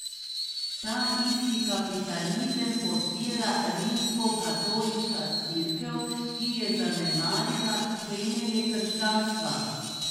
Ta isti kapitalizem podpira Rimskokatoliška cerkev, ki je zanemarila temelje krščanstva.